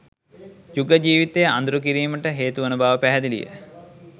යුග ජීවිතය අඳුරු කිරීමට හේතුවන බව පැහැදිලිය